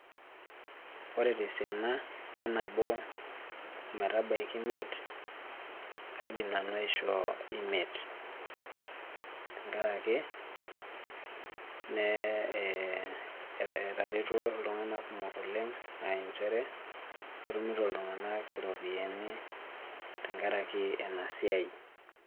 Ore tesiana enabo ometabaiki imiet, kaidim nanu aishoo imiet. Tenkaraki, etaretuo iltung'anak kumok oleng ah injere, etumito iltung'anak iropiyiani tenkaraki enasiai.